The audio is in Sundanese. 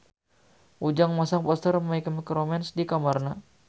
Ujang masang poster My Chemical Romance di kamarna